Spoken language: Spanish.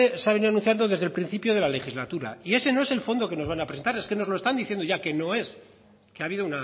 se ha idealizando desde el principio de la legislatura y ese no es el fondo que nos van a presentar es que nos lo están diciendo ya que no es que ha habido